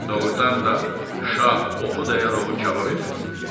Doğrudan da şah oxu dayanıb onu kabab edirdi.